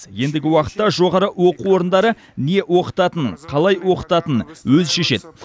ендігі уақытта жоғары оқу орындары не оқытатынын қалай оқытатынын өзі шешеді